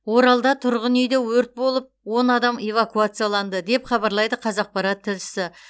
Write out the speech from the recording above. оралда тұрғын үйде өрт болып он адам эвакуацияланды деп хабарлайды қазақпарат тілшісі